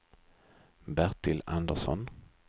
Bertil Andersson